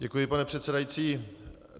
Děkuji, pane předsedající.